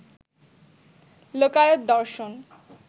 লোকায়ত দর্শন